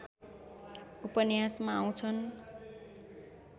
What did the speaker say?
उपन्यासमा आउँछन्